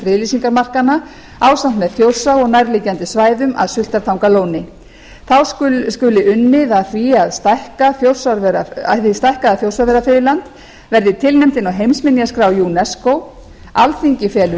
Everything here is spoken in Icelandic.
friðlýsingarmarkanna ásamt með þjórsá og nærliggjandi svæðum að sultartangalóni þá skuli unnið að því að hið stækkaða þjórsárverafriðland verði tilnefnt inn á heimsminjaskrá unesco alþingi felur